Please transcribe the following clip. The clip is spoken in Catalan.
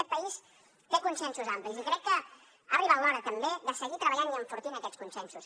aquest país té consensos amplis i crec que ha arribat l’hora també de seguir treballant i enfortint aquests consensos